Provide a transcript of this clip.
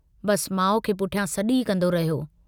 बस माउ खे पुठियां सॾु ई कन्दो रहियो।